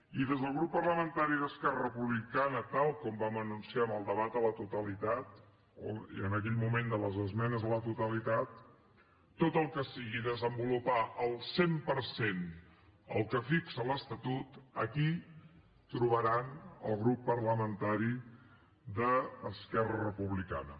i des del grup parlamentari d’esquerra republicana tal com vam anunciar en el debat a la totalitat i en aquell moment de les esmenes a la totalitat tot el que sigui desenvolupar al cent per cent el que fixa l’estatut aquí hi trobaran el grup parlamentari d’esquerra republicana